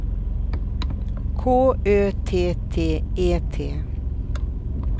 K Ö T T E T